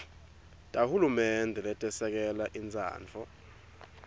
tahulumende letesekela intsandvo